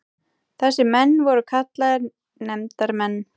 Þessir menn voru kallaðir nefndarmenn.